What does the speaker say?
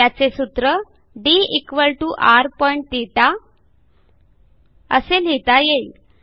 त्याचे सूत्र drθ असे लिहिता येईल